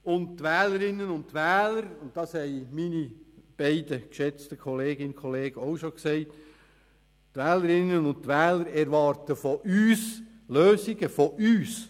Und die Wählerinnen und Wähler erwarten, wie es schon Regierungsrätin Egger und Regierungsrat Pulver gesagt haben, Lösungen von uns.